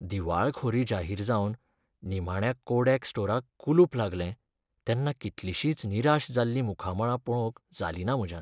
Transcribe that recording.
दिवाळखोरी जाहीर जावन निमाण्या कोडॅक स्टोराक कुलूप लागलें तेन्ना कितलिशींच निराश जाल्लीं मुखामळां पळोवंक जालिंना म्हज्यान.